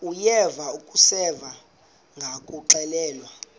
uyeva akuseva ngakuxelelwa